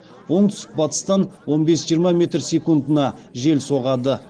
оңтүстік батыстан он бес жиырма метр секундына жел соғады